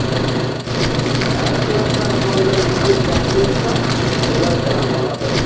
әр класстағы балалар егер жақсы оқыса олар грант алады